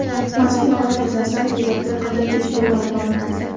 Mazkur holat yuzasidan tergovga qadar tekshiruv olib borilmoqda.